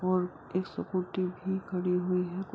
और एक स्कूटी भी खड़ी है | यह --